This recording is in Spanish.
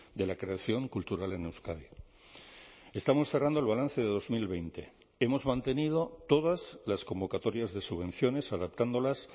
de la creación cultural en euskadi estamos cerrando el balance de dos mil veinte hemos mantenido todas las convocatorias de subvenciones adaptándolas